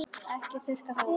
Ekki þurrka það út.